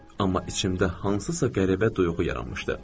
Amma içimdə hansısa qəribə duyğu yaranmışdı.